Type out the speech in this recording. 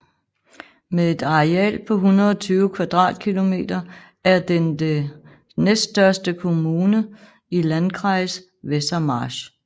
Med et areal på 120 km² er den den næststørste kommune i landkreis Wesermarsch